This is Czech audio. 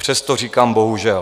Přesto říkám: bohužel.